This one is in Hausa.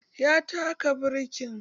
Ya taka birkin